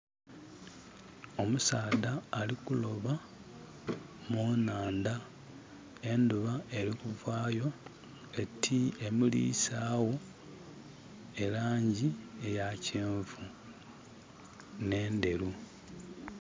Omusaadha ali kuloba munandha, endhuba erikuvayo eti emulisaagho elangi eyakyenvu ne'ndheru.